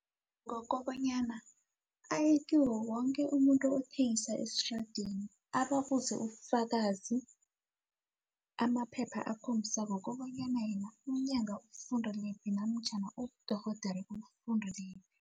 Ngokobanyana aye kiwo woke umuntu othengisa esitradeni ababuze ubufakazi amaphepha akhombisako kobanyana yena ubufundelephi namtjhana ubudorhodere ubufundelephi.